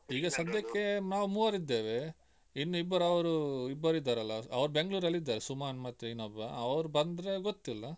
ಈಗ ಸದ್ಯಕ್ಕೆ ನಾವು ಮೂವರಿದ್ದೇವೆ ಇನ್ನು ಇಬ್ಬರು ಅವರು ಇಬ್ಬರಿದ್ದಾರಲ್ಲ ಅವರು Bangalore ಅಲ್ಲಿದ್ದಾರೆ ಸುಮನ್ ಮತ್ತೆ ಇನ್ನೊಬ್ಬ ಅವರು ಬಂದ್ರೆ ಗೊತ್ತಿಲ್ಲ.